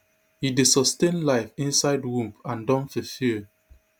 e dey sustain life inside womb and don fulfil